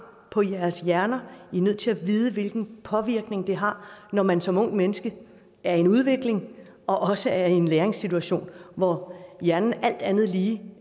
på jeres hjerner de er nødt til at vide hvilken påvirkning det har når man som ungt menneske er i en udvikling og også er i en læringssituation hvor hjernen alt andet lige